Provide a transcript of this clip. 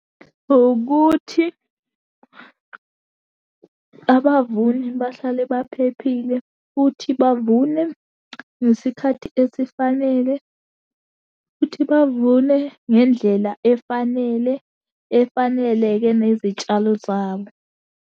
Ukuthi abavuni bahlale baphephile, futhi bavune ngesikhathi esifanele, futhi bavune ngendlela efanele, efaneleke nezitshalo zabo.